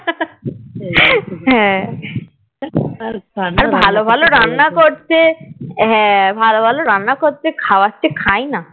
হ্যাঁ আর ভালো ভালো রান্না করছে হ্যাঁ ভালো ভালো রান্না করছে খাওয়াচ্ছে খাইনা